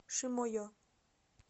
шимойо